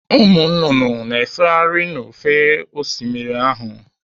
Ụmụ nnụnụ na-efegharị n'ofe Osimiri ahụ.